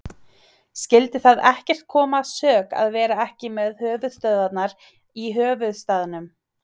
Skyldi það ekkert koma að sök að vera ekki með höfuðstöðvarnar í höfuðstaðnum?